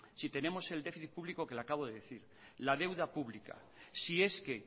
si tenemos el déficit público que le acabo de decir la deuda pública si es que